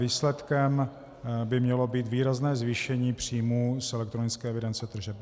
Výsledkem by mělo být výrazné zvýšení příjmů z elektronické evidence tržeb.